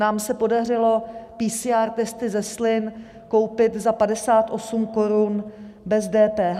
Nám se podařilo PCR testy ze slin koupit za 58 korun bez DPH.